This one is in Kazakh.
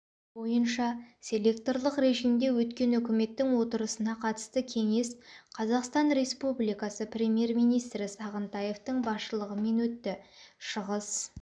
бойынша селекторлық режимде өткен үкіметтің отырысына қатысты кеңес қазақстан республикасы премьер-министрі сағынтаевтың басшылығымен өтті шығыс